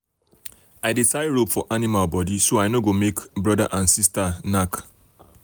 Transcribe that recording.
i dey tie rope for animal body so i no go make brother and sister knack.